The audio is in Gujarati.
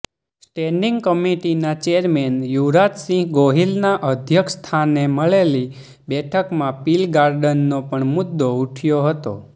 સ્ટેન્ડીંગ કમિટીના ચેરમેન યુવરાજસિંહ ગોહિલના અધ્યક્ષસ્થાને મળેલી બેઠકમાં પીલગાર્ડનનો પણ મુદ્દો ઉઠયો હતો